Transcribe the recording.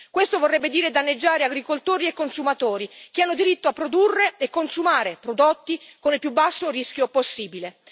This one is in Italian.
Questo vorrebbe dire danneggiare agricoltori e consumatori che hanno diritto a produrre e consumare prodotti con il più basso rischio possibile.